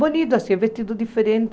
Bonito assim, vestido diferente.